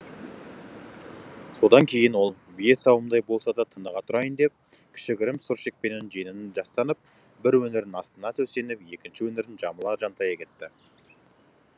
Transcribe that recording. содан кейін ол бие сауымдай болса да тыныға тұрайын деп кішігірім сүр шекпеннің жеңін жастанып бір өңірін астына төсеніп екінші өңірін жамыла жантая кетті